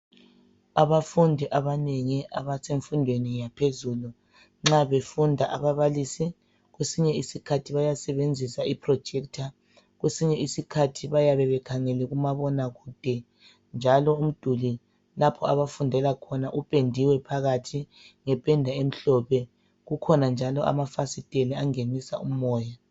Abafundi abanengi abasemfundweni yaphezulu, nxa befunda ababalisi kwesinye isikhathi bayasebenzisa iprojekitha, kwesinye isikhathi bayabe bekhangele kumabonakude njalo umduli lapho abafundela khona upendiwe phakathi ngependa emhlophe, kukhona njalo amafasitela angenisa umoya.